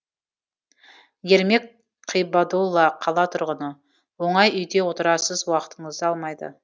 ермек қибадолла қала тұрғыны оңай үйде отырасыз уақытыңызды алмайды